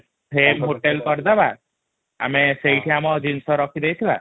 frame hotel କରିଦବା ଆମେ ସେଇଠି ଆମ ଜିନିଷ ରଖି ଦେଇ ଥିବା |